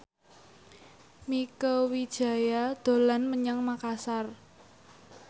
Mieke Wijaya dolan menyang Makasar